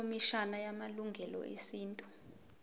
ikhomishana yamalungelo esintu